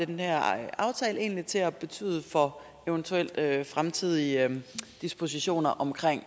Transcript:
den her aftale egentlig kommer til at betyde for eventuelle fremtidige dispositioner omkring